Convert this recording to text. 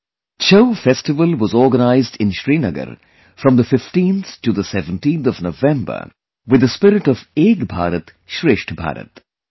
'Chhau' festival was organized in Srinagar from 15 to 17 November with the spirit of 'Ek Bharat Shreshtha Bharat'